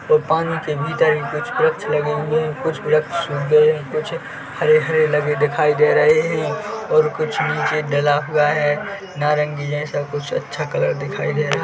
और पानी के भीतर ही कुछ वृक्ष लगे हुए है कुछ वृक्ष सूख गए है कुछ हरे-हरे लगे दिखाई दे रहे है और कुछ नीचे डला हुआ है नारंगी जैसा कुछ अच्छा कलर दिखाई दे रहा --